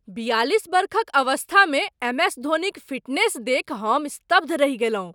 बियालिस वर्षक अवस्थामे एमएस धोनीक फिटनेस देखि हम स्तब्ध रहि गेलहुँ।